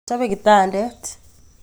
Chope kitandet